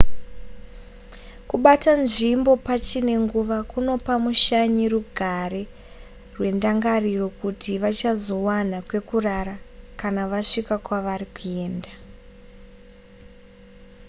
kubata nzvimbo pachine nguva kunopa mushanyi rugare rwendangariro kuti vachazowana kwekurara kana vasvika kwavari kuenda